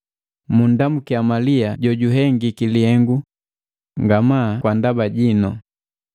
Munndamukia Malia jojuhengiki lihengu nga maa kwa ndaba jinu.